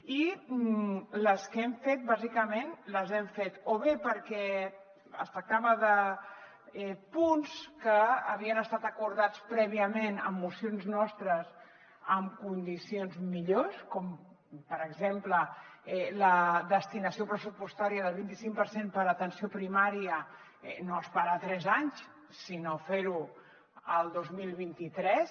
i les que hem fet bàsicament les hem fet o bé perquè es tractava de punts que havien estat acordats prèviament amb mocions nostres amb condicions millors com per exemple la destinació pressupostària del vint i cinc per cent per a atenció primària no esperar tres anys sinó fer ho el dos mil vint tres